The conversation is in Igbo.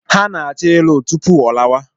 Ha na-achọ ịlụ tupu ọ lawa.